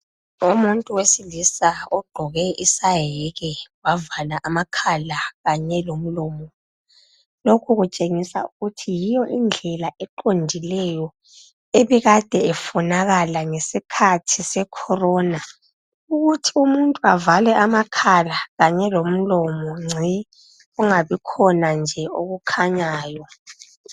Umuntu wesilisa ogqoke isayeke wavala amakhala kanye lomlomo. Lokhu kutshengisa ukuthi yiyo indlela eqondileyo ebikade ifunakala ngesikhathi sekhorona. Ukuthi umuntu avale amakhala kanye lomlomo ngci. Kungabi khona nje okukhanyayo.